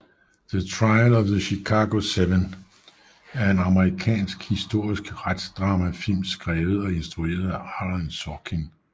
The Trial of the Chicago 7 er en amerikansk er en amerikansk historisk retsdramafilm skrevet og instrueret af Aaron Sorkin